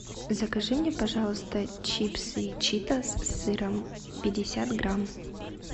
закажи мне пожалуйста чипсы читос с сыром пятьдесят грамм